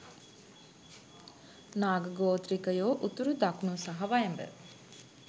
නාග ගෝත්‍රිකයෝ උතුරු, දකුණු සහ වයඹ